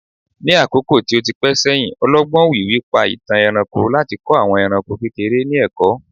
ní àkókò tí o ti pẹ sẹyìn, ọlọgbọn òwìwí pa itan ẹranko láti kọ àwọn eranko kekere ni ẹkọ